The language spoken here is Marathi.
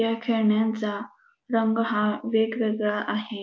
ह्या खेळण्यांचा रंग हा वेगवेगळा आहे.